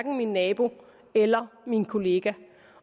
min nabo eller min kollega